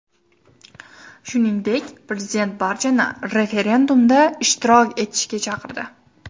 Shuningdek, prezident barchani referendumda ishtirok etishga chaqirdi.